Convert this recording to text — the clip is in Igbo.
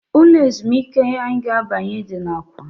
Ụlọ ezumịke anyị ga-abanye dị na awka.